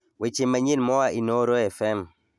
weche manyien moa inooro fm